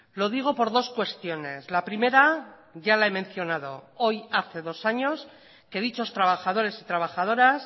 lo digo por dos cuestiones la primera ya la he mencionado hoy hace dos años que dichos trabajadores y trabajadoras